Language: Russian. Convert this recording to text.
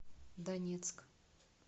донецк